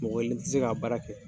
Mɔgɔ kelen ti se ka baara kɛ